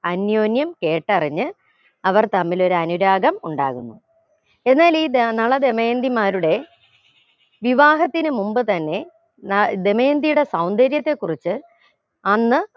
അന്യോന്യം കേട്ടറിഞ്ഞ് അവർ തമ്മിൽ ഒരു അനുരാഗം ഉണ്ടാകുന്നു എന്നാലീ ദ നള ദമയന്തിമാരുടെ വിവാഹത്തിന് മുമ്പ് തന്നെ ന ദമയന്തിയുടെ സൗന്ദര്യത്തെ കുറിച്ച് അന്ന്